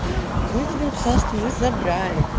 потом я тебе написал что мы забрали